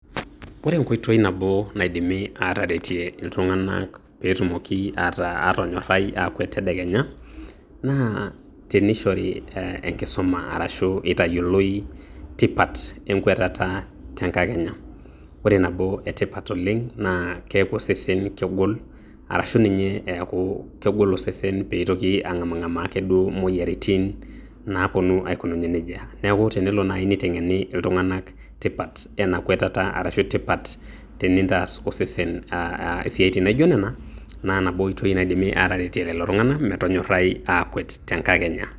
Ore enkoitoi nabo naidimi aataretie inltung'anak peetumoki aatonyorai aakwet tedekenya naa teneishori enkisuma arashuu eitayioloi tipat enkwetata tenkakenya ore tipat nabo naa keeku osesen kegol arashuu meitoki osesen ang'amaa moyiaritin naaponu aikununye nejia neeku keyieu nieten'eni iltunganak tipat ena kwetata arashuu tipat tenintaas osese isiatin naijio nena naa nabo oitoi naidimi aataretie lelo tung'anak metonyorai aakwet tenkakenya